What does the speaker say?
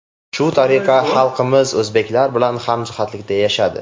Shu tariqa xalqimiz o‘zbeklar bilan hamjihatlikda yashadi.